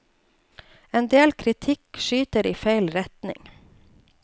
En del kritikk skyter i feil retning.